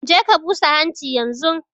Je ka busa hanchi yanzun!